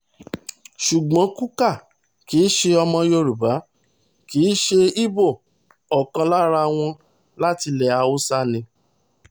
ṣùgbọ́n kukah kì í ṣe ọmọ yorùbá kì í ṣe ibo ọ̀kan lára wọn láti ilẹ̀ haúsá ni